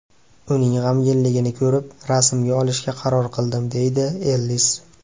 Uning g‘amginligini ko‘rib, rasmga olishga qaror qildim”, deydi Ellis.